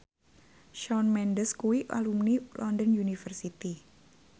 Shawn Mendes kuwi alumni London University